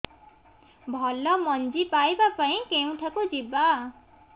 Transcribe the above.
ଭଲ ମଞ୍ଜି ପାଇବା ପାଇଁ କେଉଁଠାକୁ ଯିବା